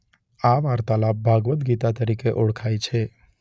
આ વાર્તાલાપ ભાગવદ ગીતા તરીકે ઓળખાય છે.